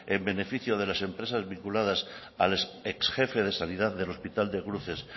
en beneficio de las empresas vinculadas al ex jefe de sanidad del hospital de cruces